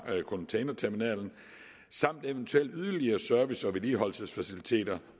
containerterminalen samt eventuelle yderligere service og vedligeholdelsesfaciliteter